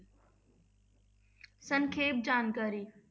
ਸੰਖੇਪ ਜਾਣਕਾਰੀ।